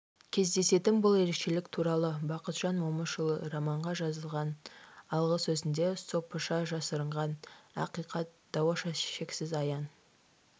кездесетін бұл ерекшелік туралы бақытжан момышұлы романға жазған алғы сөзінде сопыша жасырынған ақиқат даоша шексіз аян